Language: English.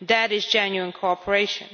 that is genuine cooperation.